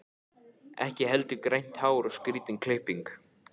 Ekki heldur grænt hár og skrýtin klipping.